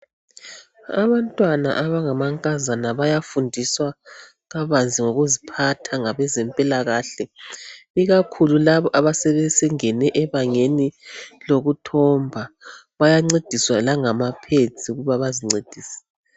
Abantwana abangamankazana bayafundiswa kabanzi ngokuziphatha ngabeze mpilakahle ikakhulu labo asebengene ebangeni lokuthomba bayancediswa langama pads ukuba bazincedise .